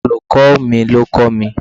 Olùkó ò mi ní o kọ́ mi